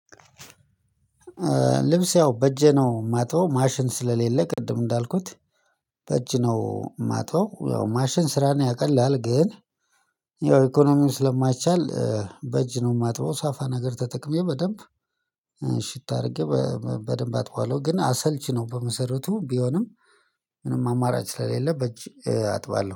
ልብስ ያው በእጄ ነው የማጥበው ማሽን ስለሌለ ቅድም እንዳልኩት። በእጅ ነው የማጥበው ያው ማሽን ስራ ነው ያቀላል ግን። ያው ኢኮኖሚው ስለማይቻል በእጅ ነው የማጥበው። ሳፋ ነገር ተጠቅሜ በደንብ እሽት አድርጌ በደንብ አጥበዋለሁ ግን አሰልቺ ነው በመሰረቱ ቢሆንም። ምንም አማራጭ ስለሌለ በእጅ አጥባለሁ